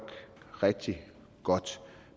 rigtig godt